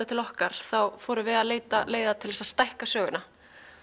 til okkar fórum við að leita leiða til að stækka söguna